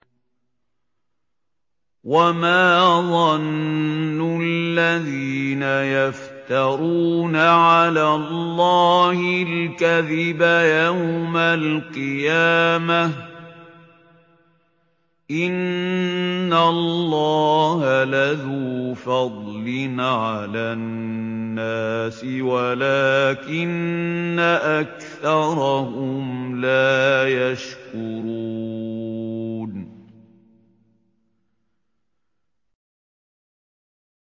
وَمَا ظَنُّ الَّذِينَ يَفْتَرُونَ عَلَى اللَّهِ الْكَذِبَ يَوْمَ الْقِيَامَةِ ۗ إِنَّ اللَّهَ لَذُو فَضْلٍ عَلَى النَّاسِ وَلَٰكِنَّ أَكْثَرَهُمْ لَا يَشْكُرُونَ